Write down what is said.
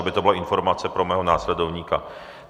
Aby to byla informace pro mého následovníka.